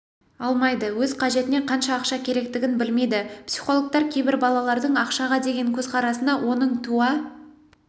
алмайды өз қажетіне қанша ақша керектігін білмейді психологтар кейбір балалардың ақшаға деген көзқарасына оның туа